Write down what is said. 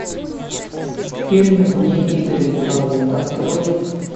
фильм вне игры пролог открой